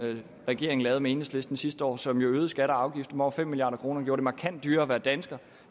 regeringen lavede med enhedslisten sidste år som jo øgede skatter og afgifter med over fem milliard kr gjorde det markant dyrere at være dansker